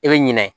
I bɛ ɲinɛ